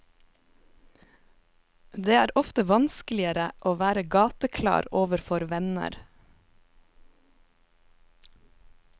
Det er ofte vanskeligere å være gateklar overfor venner.